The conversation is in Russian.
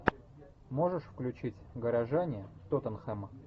можешь включить горожане тоттенхэм